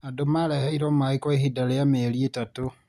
Andũ mareheirwo maĩ kwa ihinda rĩa meri itatũ